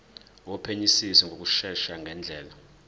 wophenyisiso ngokushesha ngendlela